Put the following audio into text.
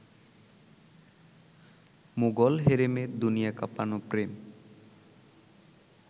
মোঘল হেরেমের দুনিয়া কাঁপানো প্রেম